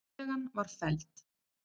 Tillagan var felld